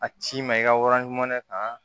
A ci ma i ka waran jumɛn kan